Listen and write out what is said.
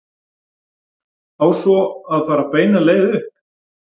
Á svo að fara beina leið upp?